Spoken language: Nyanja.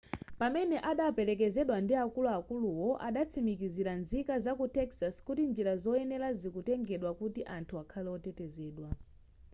pamene adaperekezedwa ndi akuluakuluwo adatsimikizira nzika zaku texas kuti njira zoyenera zikutengedwa kuti anthu akhale otetezedwa